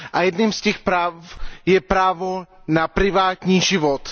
Jedním z těch práv je právo na privátní život.